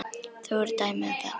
Þó eru dæmi um það.